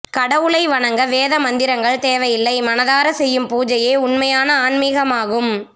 கடவுளை வணங்க வேத மந்திரங்கள் தேவையில்லை மனதார செய்யும் பூஜையே உண்மையான ஆன்மிகமாகும்